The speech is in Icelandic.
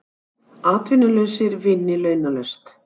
Vilja finna lausn á vanda foreldra